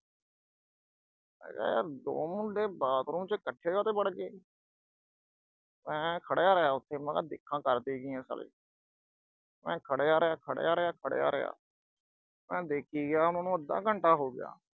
ਮੈਂ ਕਿਆ ਯਰ ਦੋ ਮੁੰਡੇ ਬਾਥਰੂਮ 'ਚ ਇਕੱਠੇ ਕਾਤੋਂ ਵੜਗੇ, ਮੈਂ ਖੜ੍ਹਾ ਰਿਹਾ ਉਥੇ, ਮੈਂ ਕਿਹਾ ਦੇਖਾਂ ਕਰਦੇ ਕੀ ਆ ਸਾਲੇ। ਮੈਂ ਖੜ੍ਹਿਆ ਰਿਹਾ, ਖੜ੍ਹਿਆ ਰਿਹਾ, ਖੜ੍ਹਿਆ ਰਿਹਾ, ਮੈਂ ਦੇਖੀ ਗਿਆ, ਉਨਾਂ ਨੂੰ ਅੱਧਾ ਘੰਟਾ ਹੋ ਗਿਆ।